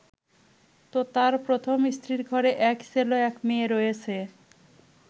তোতার প্রথম স্ত্রীর ঘরে এক ছেলে ও এক মেয়ে রয়েছে।